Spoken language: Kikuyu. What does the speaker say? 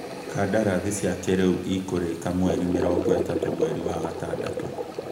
Kandarathi cia kĩrĩu ikũrĩka mweri mĩrongo ĩtatũ mweri wa gatandatũ